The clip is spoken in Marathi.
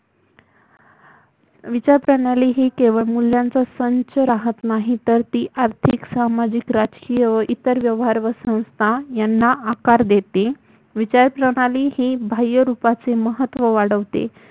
विचारप्रणाली ही केवळ मूल्यांचा संच राहत नाही तर ती आर्थिक सामाजिक राजकीय व इतर व्यवहार व संस्थाना आकार देते विचारप्रणाली ही बाह्य रूपाचे महत्व वाढवते